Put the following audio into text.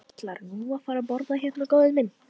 Ætlarðu nú að fara að borða hérna, góði minn?